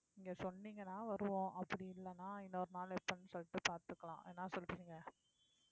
நீங்க சொன்னீங்கன்னா வருவோம் அப்படி இல்லைன்னா இன்னொரு நாள் எப்போன்னு சொல்லிட்டு பார்த்துக்கலாம் என்ன சொல்றீங்க